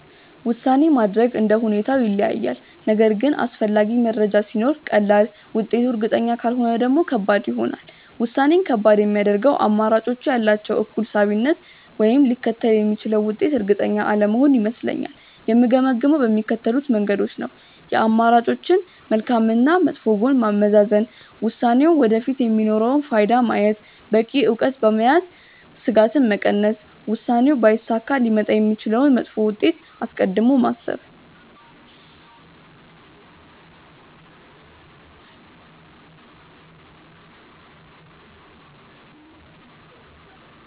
ውሳኔ ማድረግ እንደ ሁኔታው ይለያያል፤ ነገር ግን አስፈላጊ መረጃ ሲኖር ቀላል፣ ውጤቱ እርግጠኛ ካልሆነ ደግሞ ከባድ ይሆናል። ውሳኔን ከባድ የሚያደርገው አማራጮቹ ያላቸው እኩል ሳቢነት ወይም ሊከተል የሚችለው ውጤት እርግጠኛ አለመሆን ይመስለኛል። የምገመግመው በሚከተሉት መንገዶች ነው፦ የአማራጮችን መልካም እና መጥፎ ጎን ማመዛዘን፣ ውሳኔው ወደፊት የሚኖረውን ፋይዳ ማየት፣ በቂ እውቀት በመያዝ ስጋትን መቀነስ፣ ውሳኔው ባይሳካ ሊመጣ የሚችለውን መጥፎ ውጤት አስቀድሞ ማሰብ።